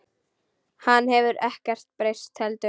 Hann hefur ekkert breyst heldur.